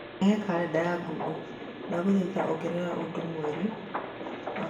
rehe kalendarĩ ya Google, ndagũthaitha ongerera ũndũ mweri wa gatano mũthenya wa gatano